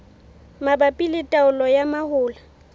mabapi le taolo ya mahola